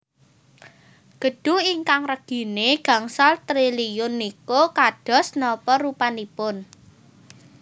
Gedung ingkang regine gangsal triliun niku kados napa rupanipun